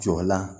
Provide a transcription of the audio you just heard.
Jɔlan